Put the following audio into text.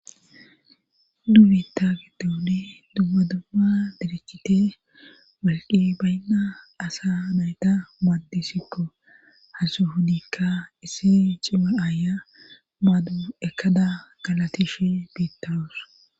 Duubita giddode dubba dubma direchite walqi baynna asa nayta maaddisikko hansu hudikka issi cima aaya baadu ekada galatish biittaroos.